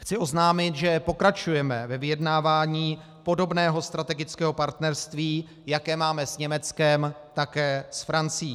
Chci oznámit, že pokračujeme ve vyjednávání podobného strategického partnerství, jaké máme s Německem, také s Francií.